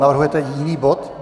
Navrhujete jiný bod?